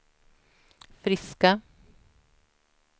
friska